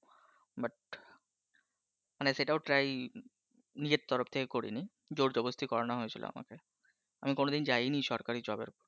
মানে সেটাও try নিজের তরফ থেকে করিনি জোরজবস্তি করানো হয়েছিল আমাকে। আমি কোনদিন যায়নি সরকারি job র